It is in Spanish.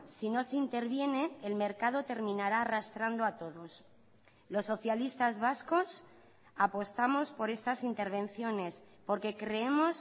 si no se interviene el mercado terminará arrastrando a todos los socialistas vascos apostamos por estas intervenciones porque creemos